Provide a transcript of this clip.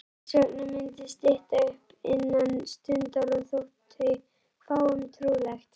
Þessvegna mundi stytta upp innan stundar- og þótti fáum trúlegt.